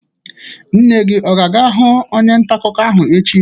Nne gi ọ ga-aga hụ onye nta akụkọ ahụ echi?